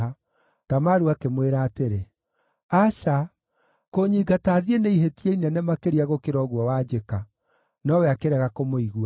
Tamaru akĩmwĩra atĩrĩ, “Aca! Kũnyingata thiĩ nĩ ihĩtia inene makĩria gũkĩra ũguo wanjĩka.” Nowe akĩrega kũmũigua.